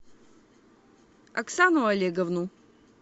оксану олеговну